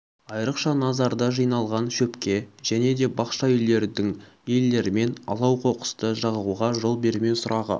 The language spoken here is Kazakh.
айрықша назарды жиналған шөпке және де бақша үйлердің иелерімен алау қоқысты жағуға жол бермеу сұрағы